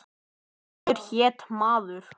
Pétur hét maður.